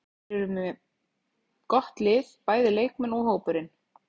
Þeir eru með gott lið, bæði leikmenn og hópurinn.